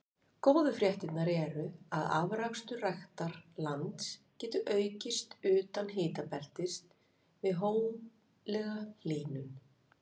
Góðu fréttirnar eru að afrakstur ræktarlands getur aukist utan hitabeltis við hóflega hlýnun.